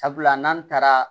Sabula n'an taara